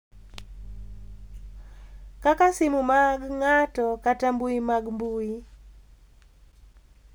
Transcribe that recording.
Kaka simu mag ng’ato kata mbui mag mbui,